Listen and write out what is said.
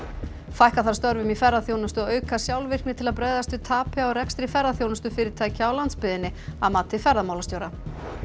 fækka þarf störfum í ferðaþjónustu og auka sjálfvirkni til að bregðast við tapi á rekstri ferðaþjónustufyrirtækja á landsbyggðinni að mati ferðamálastjóra